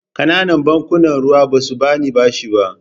Ƙananan bankunan ruwa ba su ba ni bashi ba.